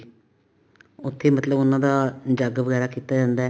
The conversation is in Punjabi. ਉੱਥੇ ਮਤਲਬ ਉਹਨਾ ਦਾ ਜੱਗ ਵਗੈਰਾ ਕੀਤਾ ਜਾਂਦਾ